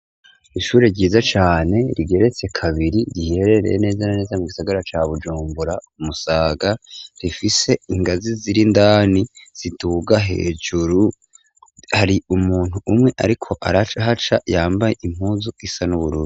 Ishuri ryiza cane rigeretse kabiri riherereye neza naneza mu gisagara ca bujumbura umusaga rifise ingazi zirindani zituga hejuru hari umuntu umwe, ariko araca haca yambaye impuzu isa n'uburura.